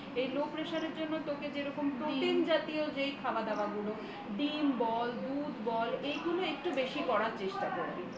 এই low pressure এর জন্য তোর যে রকম protein জাতীয় যে ধরনের খাবার দাবার গুলো ডিম বল দুধ বল এগুলো একটু বেশি করার চেষ্টা করবি